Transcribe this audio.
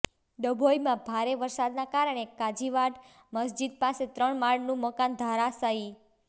ડભોઈમાં ભારે વરસાદના કારણે કાજીવાડ મસ્જિદ પાસે ત્રણ માળનું મકાન ધરાશાયી